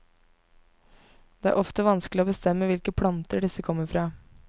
Det er ofte vanskelig å bestemme hvilke planter disse kommer fra.